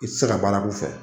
I ti se ka baara k'u fɛ.